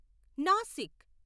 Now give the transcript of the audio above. Nashik